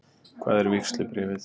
Hvar er vígslubréfið?